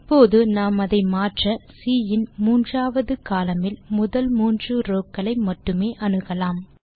இப்போது நாம் அதை மாற்ற சி இன் மூன்றாவது கோலம்ன் இல் முதல் மூன்று ரோவ் க்களை மட்டுமே அணுகலாம்